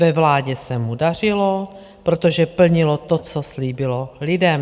Ve vládě se mu dařilo, protože plnilo to, co slíbilo lidem.